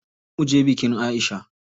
Zo muje bikin Aisha.